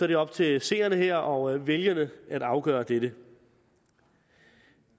det op til seerne her og vælgerne at afgøre dette